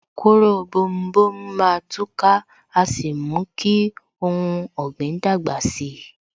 Kóró bomu bomu má tú ká, a sì mú kí ohun ọ̀gbìn dàgbà si